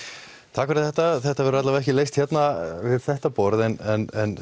takk fyrir þetta þetta verður allavega ekki leyst hérna við þetta borð en